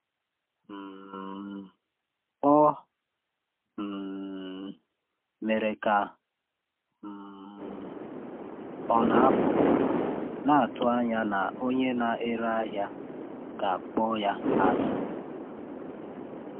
um Ọ um mere ka um ọ na-apụ, na-atụ anya na onye na-ere ahịa ga-akpọ ya azụ.